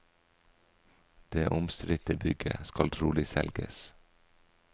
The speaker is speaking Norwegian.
Det omstridte bygget skal trolig selges.